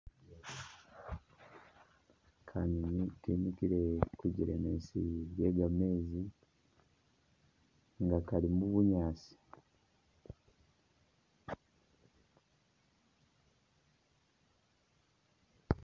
Kayuni kemikile kujelemezi lye gameezi nga kali mu bunyaasi